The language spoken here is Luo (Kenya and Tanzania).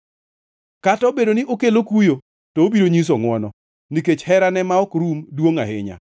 Kata obedo ni okelo kuyo, to obiro nyiso ngʼwono, nikech herane ma ok rum duongʼ ahinya,